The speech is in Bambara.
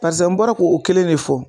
Barisa n bɔra k'o kelen de fɔ